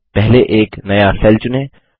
पहले एक नया सेल चुनें